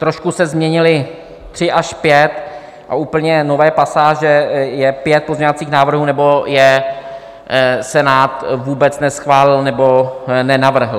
Trošku se změnily tři až pět a úplně nové pasáže je pět pozměňovacích návrhů, nebo je Senát vůbec neschválil, nebo nenavrhl.